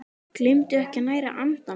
Gleymdu ekki að næra andann!